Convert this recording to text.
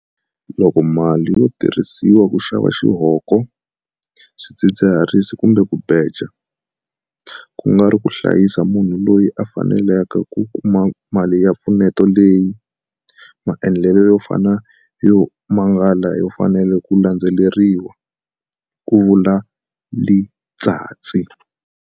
Loko mali yo tirhisiwa ku xava xihoko, swidzidziharisi kumbe ku beja, ku nga ri ku hlayisa munhu loyi a fikelelaka ku kuma mali ya mpfuneto leyi, maendlelo yo fana yo mangala ya fanele ku landzeleriwa, ku vula Letsatsi.